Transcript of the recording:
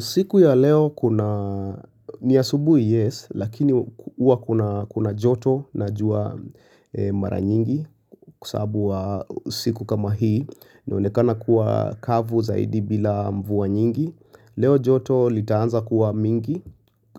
Siku ya leo kuna ni asubuhi yes lakini huwa kuna joto na jua mara nyingi kwasabu wa siku kama hii inaonekana kuwa kavu zaidi bila mvua nyingi leo joto litaanza kuwa mingi